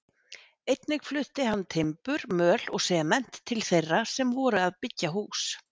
Einnig flutti hann timbur, möl og sement til þeirra sem voru að byggja hús.